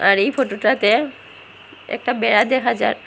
আর এই ফোটোটাতে একটা বেড়া দেখা যার।